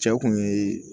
Cɛw kun ye